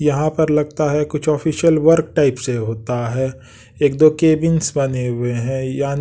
यहाँ पर लगता है कुछ ऑफिशियल वर्क टाइप से होता है एक दो कैबिंस बने हुए हैं--